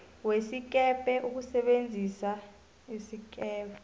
wesikebhe ukusebenzisa isikebhe